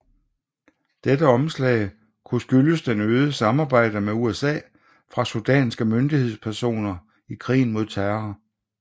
Dette omslag kunne skyldes det øgede samarbejde med USA fra sudanske myndighedspersoner i krigen mod terror